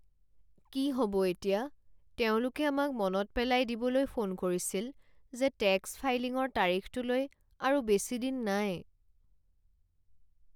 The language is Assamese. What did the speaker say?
কি হ'ব এতিয়া! তেওঁলোকে আমাক মনত পেলাই দিবলৈ ফোন কৰিছিল যে টেক্স ফাইলিঙৰ তাৰিখটোলৈ আৰু বেছি দিন নাই।